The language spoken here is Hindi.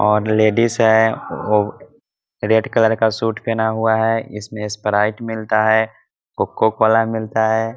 और लेडिस है रेड कलर का सूट पहना हुआ है | इसमें स्प्राइट मिलता है कोको कोला मिलता है ।